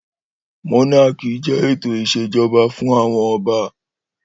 Mónákì jẹ́ ètò ìṣèjọba fún àwọn ọba